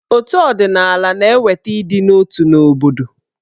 Otù ọdịnaala na-eweta ịdị n'otu n'obodo.